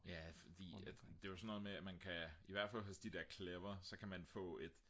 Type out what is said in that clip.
ja fordi at det er jo sådan noget med at i hvert fald hos de der clever der kan man få et